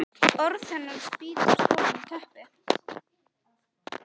Orð hennar spýtast ofan í teppið.